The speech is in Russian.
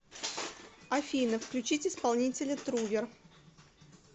афина включить исполнителя трувер